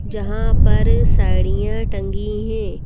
जहां पर साड़ियां टंगी हैं।